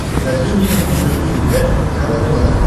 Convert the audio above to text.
покажи мне на смотрешке передачу кхл тв